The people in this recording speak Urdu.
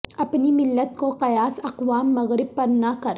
اپنی ملت کو قیاس اقوام مغرب پر نہ کر